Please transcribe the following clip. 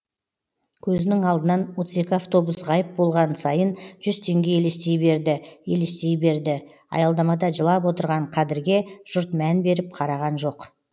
көзінің алдынан отыз екі автобус ғайып болған сайын жүз теңге елестей берді елестей берді аялдамада жылап отырған қадірге жұрт мән беріп қараған жоқ